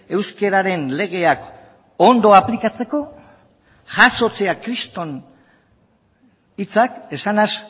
euskararen legeak ondo aplikatzeko jasotzea kriston hitzak esanez